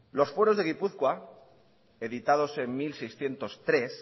los fueros de gipuzkoa editados en mil seiscientos tres